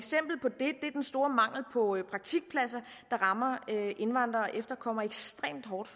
store mangel på praktikpladser der rammer indvandrere og efterkommere ekstremt hårdt